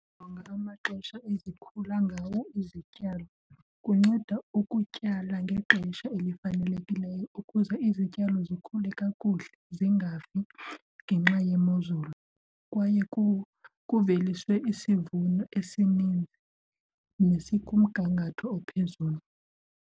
Jonga amaxesha ezikhula ngawo izityalo kunceda ukutyala ngexesha elifanelekileyo ukuze izityalo zikhule kakuhle zingafi ngenxa yemozulu kwaye kuveliswe isivuno esininzi nesikumgangatho ophezulu.